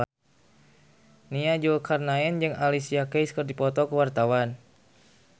Nia Zulkarnaen jeung Alicia Keys keur dipoto ku wartawan